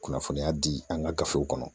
Kunnafoniya di an ka gafew kɔnɔ